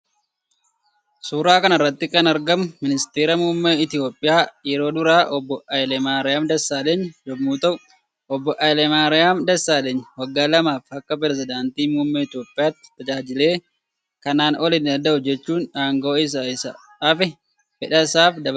Suuraa kanarratti kan argamu misteera muummee itoophiya yeroo dura obbo hayilemarem dessalenyi yommuu ta'u obbo hayilemarem dessalenyi waggaa lamaafi Akka perezidaantii muummee Itoophiyatti tajaajile kanan ol hin dandahu jechuun angoo isa isa hafe fedhasaam dabarse kenne.